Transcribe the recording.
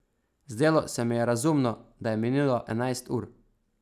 Zdelo se mi je razumno, da je minilo enajst ur.